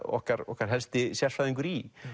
okkar okkar helsti sérfræðingur í